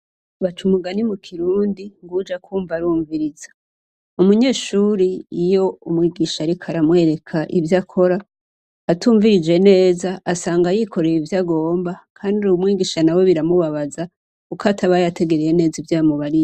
Baca umugani mu kirundi ngo uwuja kumva arumviriza, umunyeshure iyo umwigisha ariko aramwereka ivyo akora atumvirije neza asanga yikoreye ivyagomba kandi umwigisha nawe biramubabaza kuko ataba yategereye neza ivyo yamubariye.